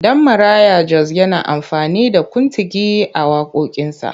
Danmaraya Jos na amfani da kuntigi a waƙoƙinsa.